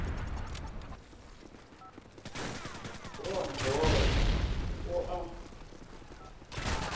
go a mbora o a